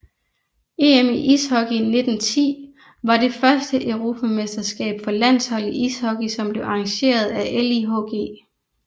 EM i ishockey 1910 var det første europamesterskab for landshold i ishockey som blev arrangeret af LIHG